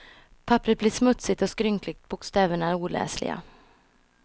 Papperet blir smutsigt och skrynkligt, bokstäverna oläsliga.